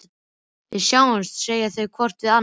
Við sjáumst, segja þau hvort við annað.